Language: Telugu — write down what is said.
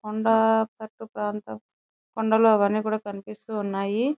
కొండా కట్టు ప్రాంతం కొండలు అవన్నీ కనిపిస్తూ ఉన్నాయి.